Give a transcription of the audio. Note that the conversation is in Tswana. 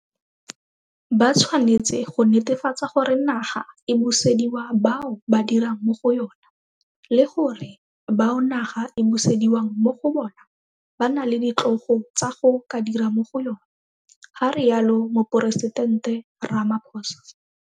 Ba tshwanetse go netefatsa gore naga e busediwa bao ba dirang mo go yona le gore bao naga e busediwang mo go bona ba na le ditlogo tsa go ka dira mo go yona, ga rialo Moporesitente Ramaphosa.